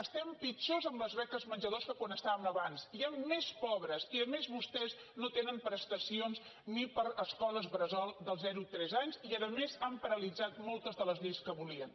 estem pitjor en les beques menjador de com estàvem abans hi han més pobres i a més vostès no tenen prestacions ni per a escoles bressol dels zero a tres anys i a més han paralitzat moltes de les lleis que volien